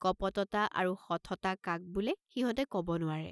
কপটতা আৰু শঠতা কাক বোলে সিহঁতে কব নোৱাৰে।